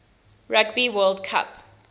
rugby world cup